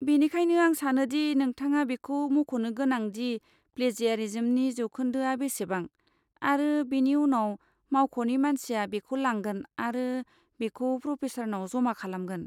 बेनिखायनो, आं सानो दि नोंथाङा बेखौ मख'नो गोनांदि प्लेजियारिज्मनि जौखोन्दोआ बेसेबां, आरो बेनि उनाव मावख'नि मानसिया बेखौ लांगोन आरो बेखौ प्रफेसारनाव जमा खालामगोन।